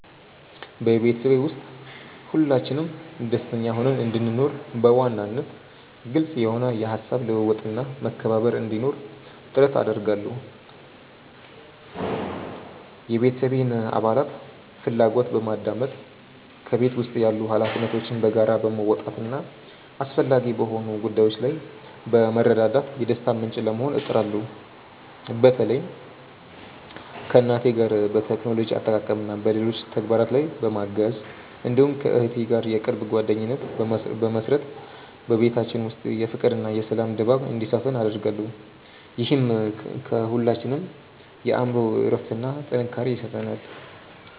በቤተሰቤ ውስጥ ሁላችንም ደስተኛ ሆነን እንድንኖር፣ በዋናነት ግልጽ የሆነ የሐሳብ ልውውጥና መከባበር እንዲኖር ጥረት አደርጋለሁ። የቤተሰቤን አባላት ፍላጎት በማድመጥ፣ በቤት ውስጥ ያሉ ኃላፊነቶችን በጋራ በመወጣትና አስፈላጊ በሆኑ ጉዳዮች ላይ በመረዳዳት የደስታ ምንጭ ለመሆን እጥራለሁ። በተለይም ከእናቴ ጋር በቴክኖሎጂ አጠቃቀምና በሌሎች ተግባራት ላይ በማገዝ፣ እንዲሁም ከእህቴ ጋር የቅርብ ጓደኝነት በመመሥረት በቤታችን ውስጥ የፍቅርና የሰላም ድባብ እንዲሰፍን አደርጋለሁ። ይህም ለሁላችንም የአእምሮ እረፍትና ጥንካሬ ይሰጠናል።